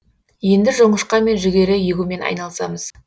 енді жоңышқа мен жүгері егумен айналысамыз